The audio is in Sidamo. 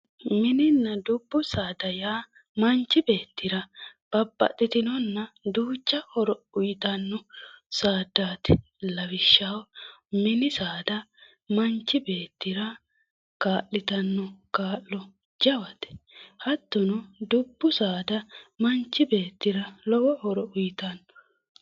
Mininna dubbu saada yaa manchi beettira babbaxxitinonna duucha horo uyiitanno saaddaati lawishshaho mini saada manchi beettira kaa'litanno kaa'lo jawate hattono dubbu saada manchi beettira lowo horo uyiitanno